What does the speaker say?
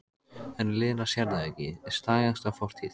En Lena sér það ekki, stagast á fortíð.